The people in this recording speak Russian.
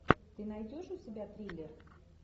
ты найдешь у себя триллер